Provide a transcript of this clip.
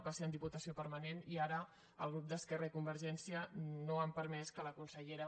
va ser en diputació permanent i ara els grups d’esquerra i convergència no han permès que la consellera